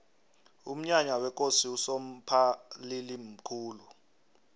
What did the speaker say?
umnyanya wekosi usomphalili mkhulu